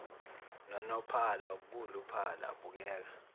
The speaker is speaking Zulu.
nonophala khuluphala bukeka